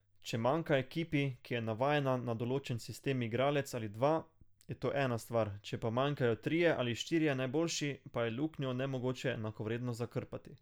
Če manjka ekipi, ki je navajena na določen sistem igralec ali dva, je to ena stvar, če pa manjkajo trije ali štirje najboljši, pa je luknjo nemogoče enakovredno zakrpati.